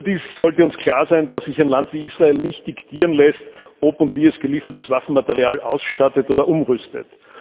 Überdies sollte uns klar sein, dass sich ein Land wie Israel nicht diktieren lässt, ob und wie es geliefertes Waffenmaterial ausstattet oder umrüstet.